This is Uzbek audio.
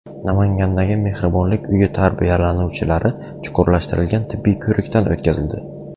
Namangandagi mehribonlik uyi tarbiyalanuvchilari chuqurlashtirilgan tibbiy ko‘rikdan o‘tkazildi.